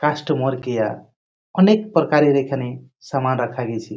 Customer care অনেক প্রকারের এখানে সামান রাখা গেছে।